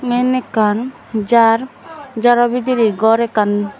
eben ekkan jar jarobidiri gor ekkan.